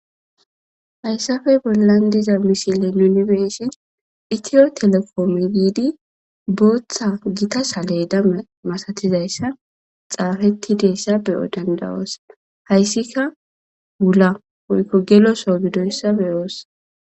hayssafey bollan diza mishile yunibesi itiyo telekome biidi booththa gita sale dame masatizayssa xaafetti deessa beyo dandawoos hayssika wula woykko geloso gidoyssa beyoos